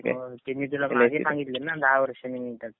ते मी तुला मागे सांगितलं ना दहा वर्षाने मिळतात.